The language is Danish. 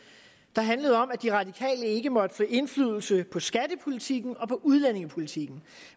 der handlede om at de radikale ikke måtte få indflydelse på skattepolitikken og på udlændingepolitikken